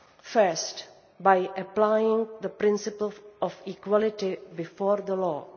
First, by applying the principle of equality before the law.